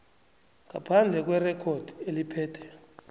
ngaphandle kwerekhodi eliphethe